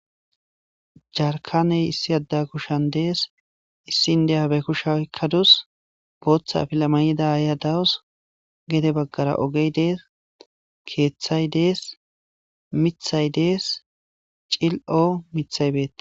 Jarkaney issi adda kushshan dees issin deyabe kushay kadus booththa afila mayid aya dawus gede baggara ogey dees keeththay dees mithay des cil7o mithay beetes.